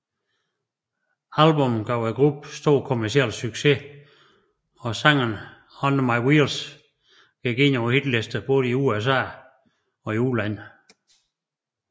Albummet gav gruppen stor kommerciel succes og sangen Under My Wheels gik ind på hitlistene både i USA udlandet